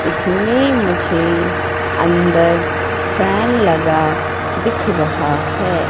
इसमें मुझे अंदर फैन लगा दिख रहा है।